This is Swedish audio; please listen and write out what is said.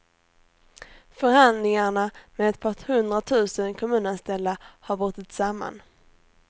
Förhandlingarna med ett par hundra tusen kommunanställda har brutit samman.